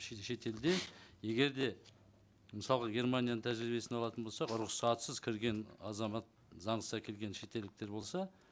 шетелде егер де мысалға германияның тәжірибесін алатын болсақ рұқсатсыз кірген азамат заңсыз әкелген шетелдіктер болса